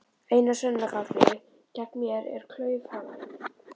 Eina sönnunargagnið gegn mér er klaufhamarinn.